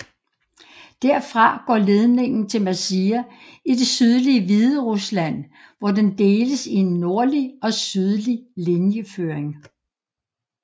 Derfra går ledningen til Mazir i det sydlige Hviderusland hvor den deles i en nordlig og sydlig linjeføring